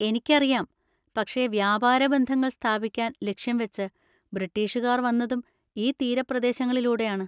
എനിക്കറിയാം, പക്ഷെ വ്യാപാര ബന്ധങ്ങൾ സ്ഥാപിക്കാൻ ലക്ഷ്യം വെച്ച് ബ്രിട്ടീഷുകാർ വന്നതും ഈ തീരപ്രദേശങ്ങളിലൂടെയാണ്.